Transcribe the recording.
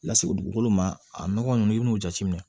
Lase dugukolo ma a nɔgɔ nunnu i bin'o jateminɛ